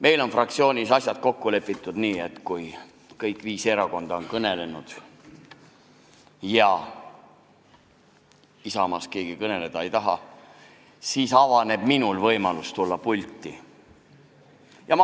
Meil on fraktsioonis asjad kokku lepitud nii, et kui kõik viis erakonda on kõnelenud ja Isamaast keegi kõneleda ei taha, siis avaneb minul võimalus pulti tulla.